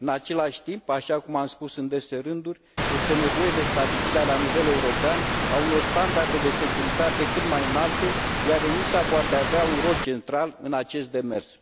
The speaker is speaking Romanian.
În același timp, așa cum am spus în dese rânduri, este nevoie de stabilirea la nivel european a unor standarde de securitate cât mai înalte, iar ENISA poate avea un rol central în acest demers.